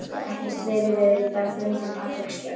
Ekkert veiðiveður í dag, förum til Patreksfjarðar.